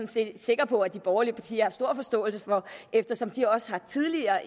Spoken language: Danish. set sikker på at de borgerlige partier har stor forståelse for eftersom de også tidligere